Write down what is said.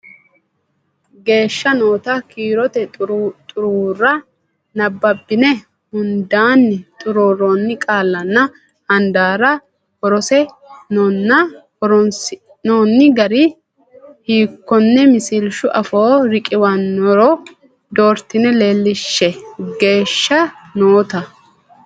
geeshsha noota kiirote xuruurra nabbabbine hundaanni xuruurroonni qaallanna handaarra horonsi noonni gari hiikkonne misilshu afoo riqiwannoro doortine leellishshe geeshsha noota.